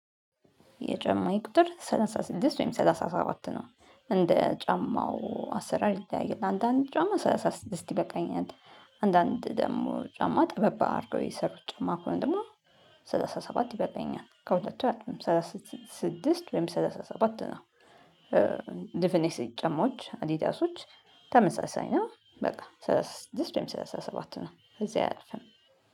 የጫማ ቁጥር ሰላሳ ስድስት ወይም ሰላሳ ሰባት ነው እንደ ጫማው አሰራር ይለያያል አንዳንድ ጫማ ሰላሳ ስድስት ይበቃኛል። አንዳንድ ደግሞ ጫማ ጠበብ አድርጎ የሰሩት ጫማ እኮ ነው ደግሞ ሰላሳ ሰባት ይበልጠኛል ከሁለተኛ ሰላሳ ስድስት ወይ ሰላሳ ሰባት ነው። ስጨሞች አዲዳሶች ተመሳሳይ ነው። በቃ ሰላሳ ስድስት ወይም ሰላሳ ሰባት ነው እዚህ አያልፍም።